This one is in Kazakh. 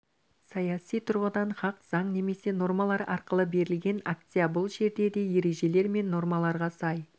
саяси тұрғыдан хақ заң немесе нормалар арқылы берілген акция бұл жерде де ережелер мен нормаларға сай